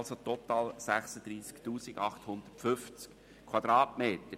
Das ergibt total 36 850 Quadratmeter.